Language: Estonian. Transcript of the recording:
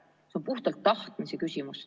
See on puhtalt tahtmise küsimus.